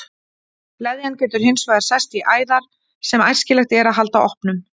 Leðjan getur hins vegar sest í æðar sem æskilegt er að halda opnum.